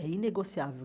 É inegociável.